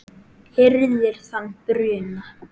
hirðir þann bruna